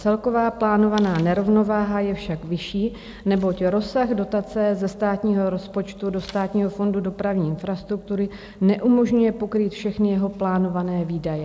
Celková plánovaná nerovnováha je však vyšší, neboť rozsah dotace ze státního rozpočtu do Státního fondu dopravní infrastruktury neumožňuje pokrýt všechny jeho plánované výdaje.